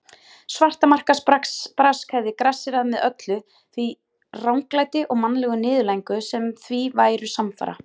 Svartamarkaðsbrask hefði grassérað með öllu því ranglæti og mannlegu niðurlægingu sem því væru samfara.